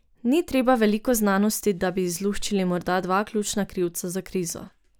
Ni treba veliko znanosti, da bi izluščili morda dva ključna krivca za krizo.